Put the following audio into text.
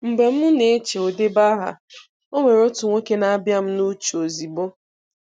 Mgbe m na-eche "odebeaha" onwere otu nwoke na-abịa m n'uche ozigbo.